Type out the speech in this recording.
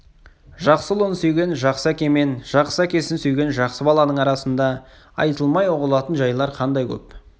жақсы ұлын сүйген жақсы әке мен жақсы әкесін сүйген жақсы баланың арасында айтылмай ұғылатын жайлар қандай көп